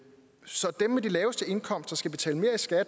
så vil lave